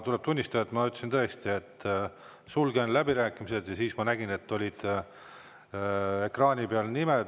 Tuleb tunnistada, et ma ütlesin tõesti, et ma sulgen läbirääkimised, ja siis nägin, et ekraani peal on nimed.